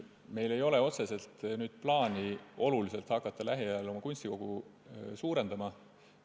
Meil ei ole otseselt plaani hakata lähiajal oma kunstikogu kõvasti suurendama.